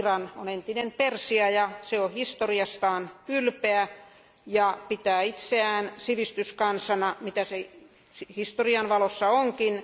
Iran on entinen Persia, ja se on historiastaan ylpeä ja pitää itseään sivistyskansana, mitä se historian valossa onkin.